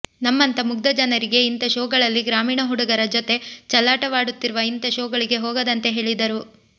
ನಮ್ಮಂಥ ಮುಗ್ದ ಜನರಿಗೆ ಇಂಥ ಶೋಗಳಲ್ಲಿ ಗ್ರಾಮೀಣ ಹುಡುಗರ ಜತೆ ಚಲ್ಲಾಟವಾಡುತ್ತಿರುವ ಇಂಥ ಶೋಗಳಿಗೆ ಹೋಗದಂತೆ ಹೇಳಿದರು